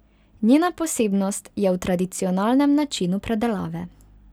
Njena posebnost je v tradicionalnem načinu predelave.